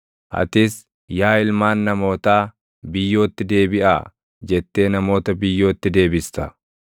Atis, “Yaa ilmaan namootaa, biyyootti deebiʼaa” jettee namoota biyyootti deebista.